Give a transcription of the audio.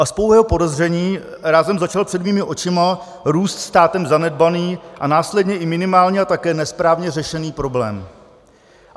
A z pouhého podezření rázem začal před mýma očima růst státem zanedbaný a následně i minimálně a také nesprávně řešený problém.